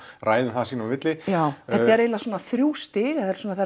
ræða um það sín á milli þetta eru eiginlega svona þrjú stig